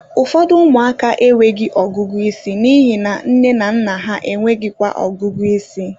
Ụfọdụ ụmụaka enweghị ọgụgụ isi n'ihi na nne na nna ha enweghịkwa ọgụgụ ịsị